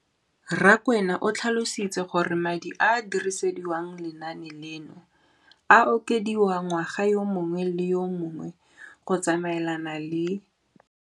Rakwena o tlhalositse gore madi a a dirisediwang lenaane leno a okediwa ngwaga yo mongwe le yo mongwe go tsamaelana le